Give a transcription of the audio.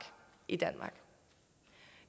i danmark